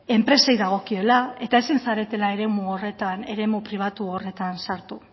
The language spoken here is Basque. enpresei dagokiela eta ezin zaretela eremu pribatu horretan sartu